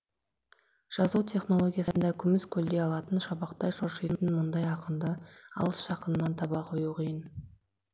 жазу технологиясында күміс көлде алтын шабақтай шоршитын мұндай ақынды алыс жақыннан таба қою қиын